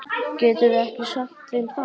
Geturðu ekki sagt þeim þetta.